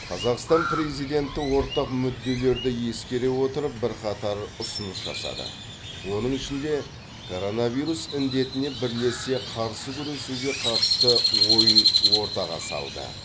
қазақстан президенті ортақ мүдделерді ескере отырып бірқатар ұсыныс жасады оның ішінде коронавирус індетіне бірлесе қарсы күресуге қатысты ойын ортаға салды